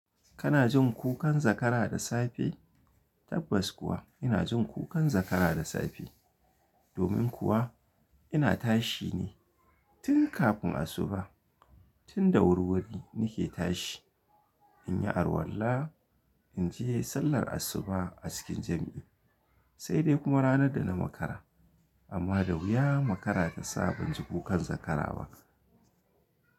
Kana jin kukan zakara da safe? Tabbas kuwa ina jin kukan zakara da safe. Domin kuwa ina tashi ne tun kafin asuba. Tun da wurwuri nike tashi in yi alwalla, in je sallar asuba a cikin jam’i sai dai kuma ranar da na makara. Amma da wuya makara ta sa ban ji kukan zakara ba.